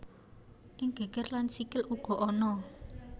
Ing geger lan sikil uga ana